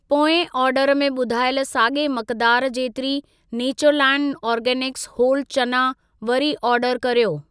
पोएं ऑर्डर में ॿुधायल साॻिए मिक़दार जेतिरी नैचरलैंड ऑर्गॅनिक्स होल चना वरी ऑर्डर कर्यो।